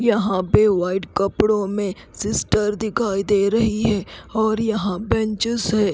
यहां पे वाइट कपड़ो में सिस्टर दिखाई दे रही है और यहां बेंचेस है।